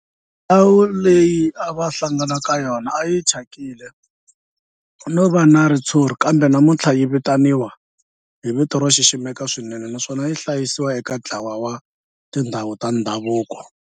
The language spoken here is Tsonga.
Ndhawu leyi a va hlangana ka yona a yi thyakile no va na ritshuri kambe namuntlha yi vitaniwa hi vito ro xiximeka swinene naswona yi hlayiwa eka ntlawa wa tindhawu ta ndhavuko.